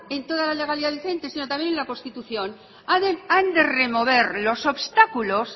en toda la legalidad vigente sino también en la constitución han de remover los obstáculos